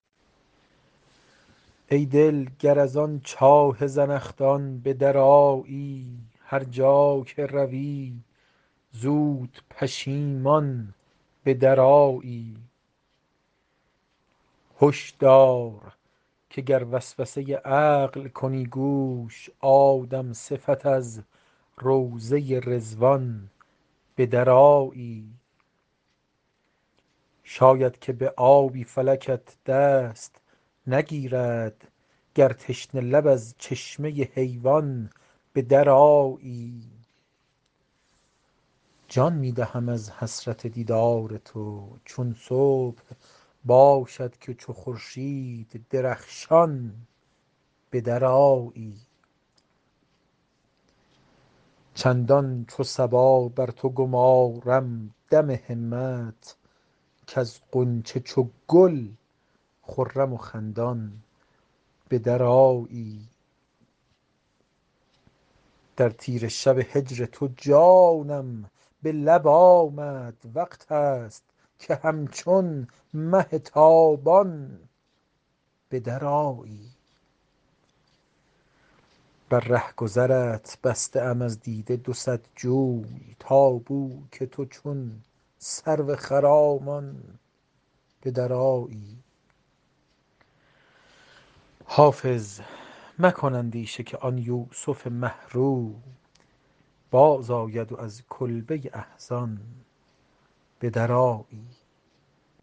ای دل گر از آن چاه زنخدان به درآیی هر جا که روی زود پشیمان به درآیی هش دار که گر وسوسه عقل کنی گوش آدم صفت از روضه رضوان به درآیی شاید که به آبی فلکت دست نگیرد گر تشنه لب از چشمه حیوان به درآیی جان می دهم از حسرت دیدار تو چون صبح باشد که چو خورشید درخشان به درآیی چندان چو صبا بر تو گمارم دم همت کز غنچه چو گل خرم و خندان به درآیی در تیره شب هجر تو جانم به لب آمد وقت است که همچون مه تابان به درآیی بر رهگذرت بسته ام از دیده دو صد جوی تا بو که تو چون سرو خرامان به درآیی حافظ مکن اندیشه که آن یوسف مه رو بازآید و از کلبه احزان به درآیی